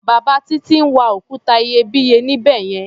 Bàbá Títí ń wa òkúta iyebíye níbẹ̀ yẹn.